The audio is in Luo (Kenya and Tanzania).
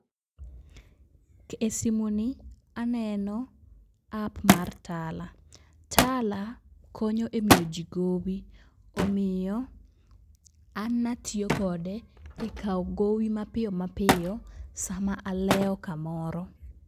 E simuni aneno app mar Tala. Tala kony e miyo ji gowi. Omiyo, an natiyo kode e kawo gowi mapiyo mapiyo, sama alewo kamoro.